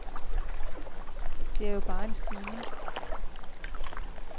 Det er jo bare en stigning.